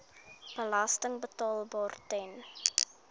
belasting betaalbaar ten